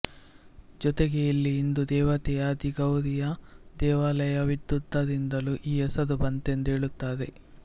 ಜೊತೆಗೆ ಇಲ್ಲಿ ಹಿಂದೂ ದೇವತೆಯಾದಿ ಗೌರಿಯ ದೇವಾಲಯವಿದ್ದುದರಿಂದಲೂ ಈ ಹೆಸರು ಬಂತೆಂದು ಹೇಳುತ್ತಾರೆ